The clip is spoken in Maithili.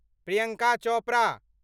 प्रियंका चोपड़ा